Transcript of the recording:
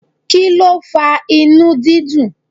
Kí ló fa inú dídùn?